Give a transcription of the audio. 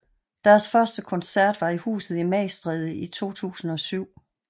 Deres første koncert var i Huset i Magstræde i 2007